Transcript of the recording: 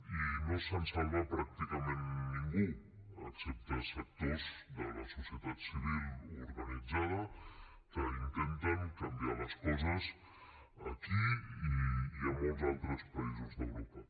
i no se’n salva pràcticament ningú excepte sectors de la societat civil organitzada que intenten canviar les coses aquí i a molts altres països d’europa